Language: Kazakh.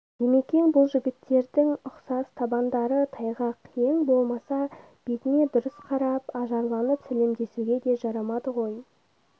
димекең бұл жігіттердің ұсақ табандары тайғақ ең болмаса бетіне дұрыс қарап ажарланып сәлемдесуге де жарамады ғой